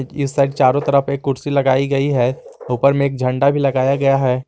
एक साइड चारों तरफ एक कुर्सी लगाई गई है ऊपर में एक झंडा भी लगाया गया है।